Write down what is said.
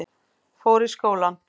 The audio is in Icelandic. Fór í skólann.